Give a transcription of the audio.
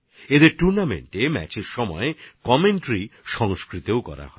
এই টুর্নামেন্টের ম্যাচগুলোর সময় ধারাভাষ্য সংস্কৃতেও করা হয়